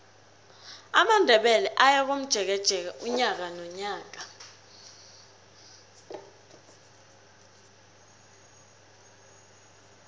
amandebele ayakomjekeje unyaka nonyaka